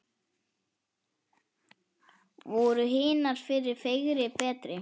Voru hinar fyrri fegri, betri?